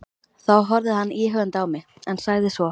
Þá horfði hann íhugandi á mig, en sagði svo